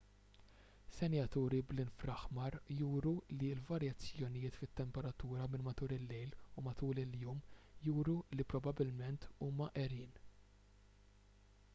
senjaturi bl-infraaħmar juru li l-varjazzjonijiet fit-temperatura minn matul il-lejl u matul il-jum juru li probabbilment huma għerien